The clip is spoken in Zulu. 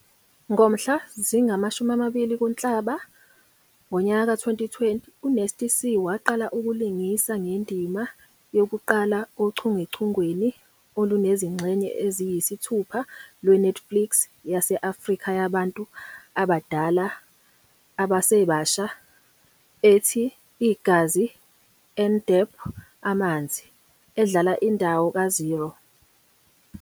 Ngomhla zingama-20 kuNhlaba wezi-2020, uNasty C waqala ukulingisa ngendima yokuqala ochungechungeni olunezingxenye eziyisithupha lwe- Netflix yase-Afrika yabantu abadala abasebasha ethi, "Igazi and Amanzi", edlala indawo kaZhero.